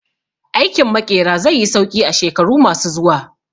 Aikin Maƙera zai yi sauƙi a shekaru ma su zuwa